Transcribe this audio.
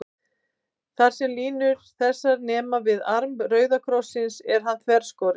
Þar, sem línur þessar nema við arm rauða krossins, er hann þverskorinn.